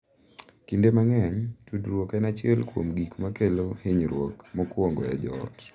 Kinde mang’eny, tudruok en achiel kuom gik ma kelo hinyruok mokwongo e joot